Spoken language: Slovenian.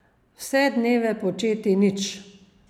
Vse dneve početi nič.